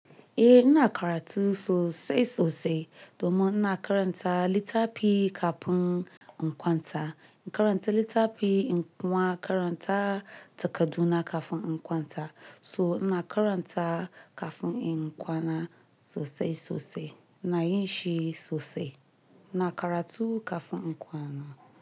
Eh, ina karatu sosai sosai domin ina karanta littafi kafin in kwanta. In karanta littafi in kuma, karanta takardu na kafin in kwanta. So ina karanta kafin in kwana sosai sosai ina yin shi sosai. Ina karatu kafin in kwana.